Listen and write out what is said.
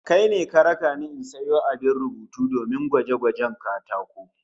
Kai ne ka raka ni in sayo abin rubutu domin rubuta gwaje-gwajen katako?